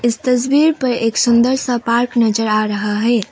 इस तस्वीर पे एक सुंदर सा पार्क नजर आ रहा है।